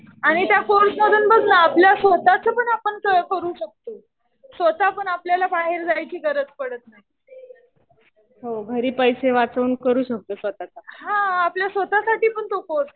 आणि त्या कोर्समधून बघ ना आपलं स्वतःच आपण ते करू शकतो. स्वतः पण आपल्याला बाहेर जायची गरज पडत नाही. हा. आपल्या स्वतःसाठी पण तो कोर्स